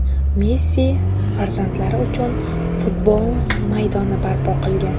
Messi farzandlari uchun futbol maydoni barpo qilgan.